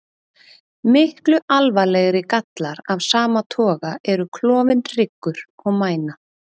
Miklu alvarlegri gallar af sama toga eru klofinn hryggur og mæna.